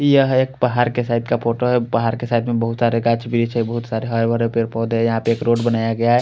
यह एक बहार के साइड का फोटो है बहार के साइड में बोहोत सारे गाछ बिच है बोहोत सारे हरे भरे पेड़ पोधे है यहाँ पे एक रोड बनाया गया है।